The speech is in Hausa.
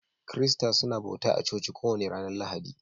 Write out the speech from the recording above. Kirista suna bauta a coci kowani ranan Lahadi.